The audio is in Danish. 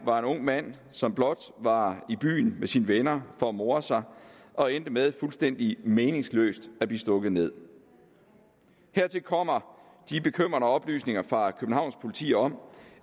var en ung mand som blot var i byen med sine venner for at more sig og endte med fuldstændig meningsløst at blive stukket nederst hertil kommer de bekymrende oplysninger fra københavns politi om